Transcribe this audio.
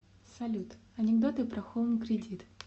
салют анекдоты про хоум кредит